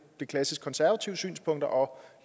de klassiske konservative synspunkter og